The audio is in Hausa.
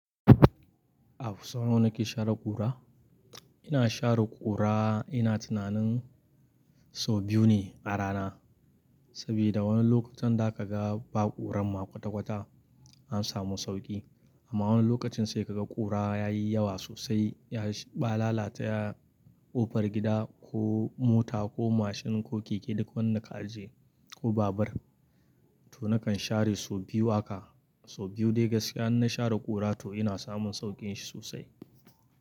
A fusata, nawa nake share ƙura? Ina share ƙura ina tunanin sau biyu ne a rana. Sabida wani lokutan da kaga ba ƙuran ma kwata-kwata an samu sauƙi. Amma wani lokacin sai kaga ƙura yayi yawa sosai, ya shi ba lalata ƙofar gida ko mota ko mashin ko keke duk wanda ka aje ko babur. To nakan share sau biyu haka. Sau biyu dai gaskiya in na share ƙura to ina samun sauƙin shi sosai.